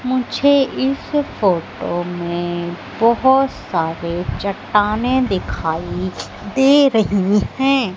मुझे इस फोटो में बहोत सारे चट्टाने दिखाई दे रही है।